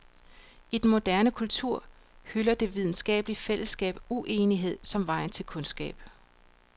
I den moderne kultur hylder det videnskabelige fællesskab uenighed som vejen til kundskab.